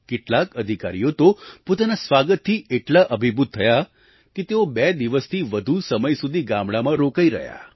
કેટલાક અધિકારીઓ તો પોતાના સ્વાગતથી એટલા અભિભૂત થયા કે તેઓ બે દિવસથી વધુ સમય સુધી ગામડામાં રોકાઇ રહ્યા